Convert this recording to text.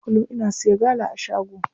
Kullum ina siya gala a shago.